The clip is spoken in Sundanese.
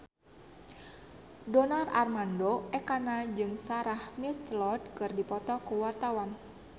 Donar Armando Ekana jeung Sarah McLeod keur dipoto ku wartawan